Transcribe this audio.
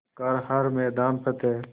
कर हर मैदान फ़तेह